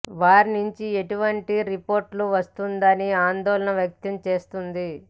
వారి నుంచి ఎటువంటి రిపోర్టు వస్తుందోనని ఆందోళన వ్యక్తం చేస్తుంది